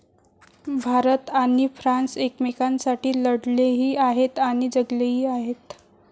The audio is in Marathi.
भारत आणि फ्रान्स एकमेकांसाठी लढलेही आहेत आणि जगलेही आहेत.